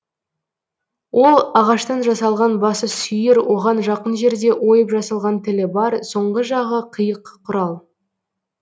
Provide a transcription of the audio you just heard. ол ағаштан жасалған басы сүйір оған жақын жерде ойып жасалған тілі бар соңғы жағы қиық құрал